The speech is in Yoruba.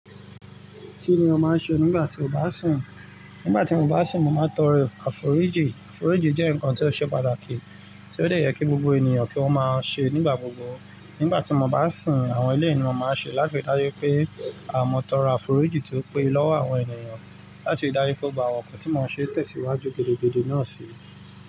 Kí ni o máa ń ṣe nígbà tí o bá sìn? Nígbà tí mo bá sìn, mo màá tọrọ àforíjì. Àforíjì jẹ́ nǹkan tí ó ṣe pàtàkì tí ó dẹ̀ yẹ kí gbogbo ènìyàn kí wọ́n máa ń ṣe nígbà gbogbo. Nígbà tí mo bá sìn, àwọn ilé ènìyàn máa ń ṣe láti dájú pé a mọ tọrọ àforíjì tí ó pé lọ́wọ́ àwọn ènìyàn láti dájú pé ó gbà ọ̀pọ̀ tí mo ṣe tẹ̀síwájú gbedegbede náà sí.